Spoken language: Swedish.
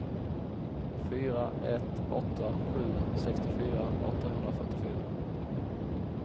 fyra ett åtta sju sextiofyra åttahundrafyrtiofyra